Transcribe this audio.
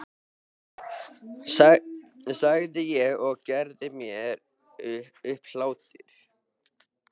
sagði ég og gerði mér upp hlátur.